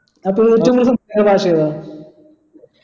അപ്പൊ ഏറ്റവും കൂടുതൽ സംസാരിക്കുന്ന ഭാഷ ഏതാ